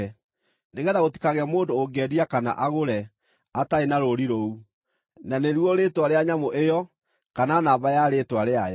nĩgeetha gũtikagĩe mũndũ ũngĩendia kana agũre, atarĩ na rũũri rũu, na nĩruo rĩĩtwa rĩa nyamũ ĩyo, kana namba ya rĩĩtwa rĩayo.